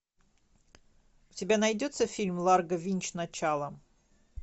у тебя найдется фильм ларго винч начало